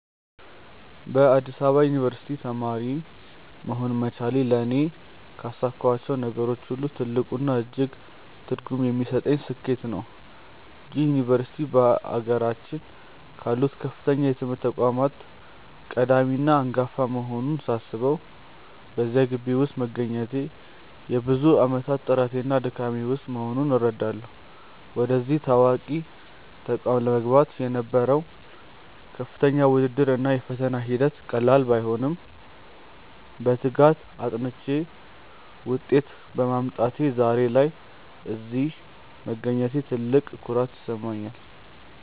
በአዲስ አበባ ዩኒቨርሲቲ (Addis Ababa University) ተማሪ መሆን መቻሌ ለእኔ ካሳካኋቸው ነገሮች ሁሉ ትልቁና እጅግ ትርጉም የሚሰጠኝ ስኬቴ ነው። ይህ ዩኒቨርሲቲ በአገራችን ካሉት ከፍተኛ የትምህርት ተቋማት ቀዳሚና አንጋፋ መሆኑን ሳስበው፣ በዚያ ግቢ ውስጥ መገኘቴ የብዙ ዓመታት ጥረቴና ድካሜ ውጤት መሆኑን እረዳለሁ። ወደዚህ ታዋቂ ተቋም ለመግባት የነበረው ከፍተኛ ውድድር እና የፈተና ሂደት ቀላል ባይሆንም፣ በትጋት አጥንቼ ውጤት በማምጣቴ ዛሬ ላይ እዚህ መገኘቴ ትልቅ ኩራት ይሰጠኛል።